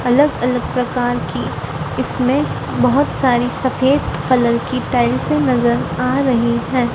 अलग अलग प्रकार की इसमें बहुत सारी सफेद कलर की टाइल्स नजर आ रही है।